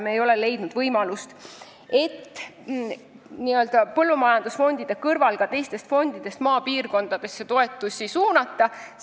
Me ei ole leidnud võimalust põllumajandusfondide kõrval ka teistest fondidest maapiirkonda toetusi suunata.